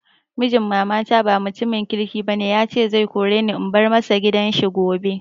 Mijin mama na ba mutumin kirki ba ne, ya ce zai kore ni in bar ma shi gidan shi gobe.